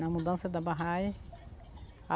Na mudança da barragem.